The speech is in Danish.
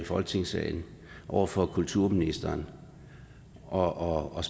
folketingssalen over for kulturministeren og og